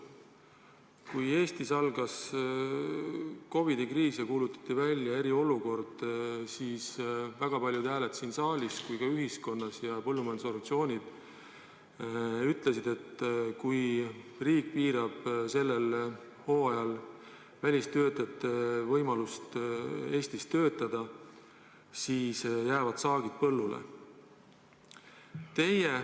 Kui Eestis algas COVID-i kriis ja kuulutati välja eriolukord, siis väga paljud siin saalis ja mujal ühiskonnas, ka põllumajandusorganisatsioonid ütlesid, et kui riik piirab sellel hooajal välistöötajate võimalust Eestis töötada, siis jäävad saagid põllule.